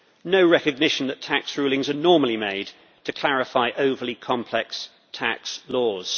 no recognition that tax rulings are normally made to clarify overly-complex tax laws.